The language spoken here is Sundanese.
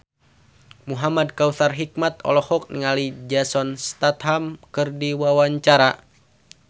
Muhamad Kautsar Hikmat olohok ningali Jason Statham keur diwawancara